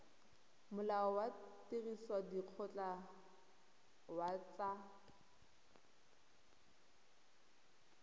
molao wa tirisodikgoka wa tsa